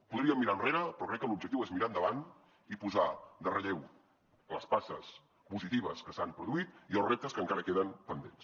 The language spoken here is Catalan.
podríem mirar enrere però crec que l’objectiu és mirar endavant i posar en relleu les passes positives que s’han produït i els reptes que encara queden pendents